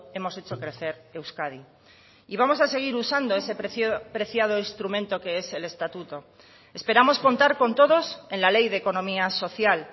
hemos hecho crecer euskadi y vamos a seguir usando ese preciado instrumento que es el estatuto esperamos contar con todos en la ley de economía social